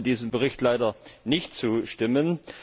Ich konnte diesem Bericht leider nicht zustimmen.